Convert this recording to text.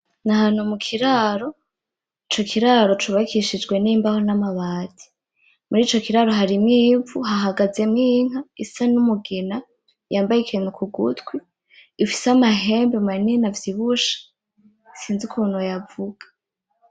Nahantu mukiraro, ico kiraro cubakishijwe n'imbaho n'ambati. Murico kiraro harimwo ivu hahagazemwo inka isa n'umugina yambaye ikinktu kugutwi, ifise amahembe manini avyibushe sinzi ukuntu noyavuga.